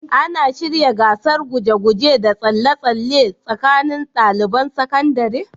Ana shirya gasar guje-guje da tsalle-tsalle tsakanin ɗaliban sakandare?